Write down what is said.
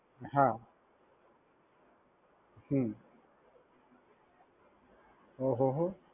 હા હમ્મ ઓહોહો.